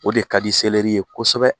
O de ka di ye kosɛbɛ